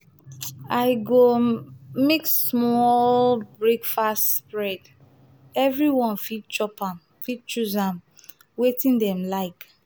i go um make small breakfast spread; everyone fit chop am fit choose am wetin dem like.